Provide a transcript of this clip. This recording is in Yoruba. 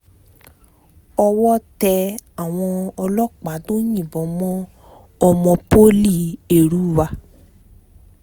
owó tẹ àwọn ọlọ́pàáà tó yìnbọn mọ́ ọmọ poli èrúwà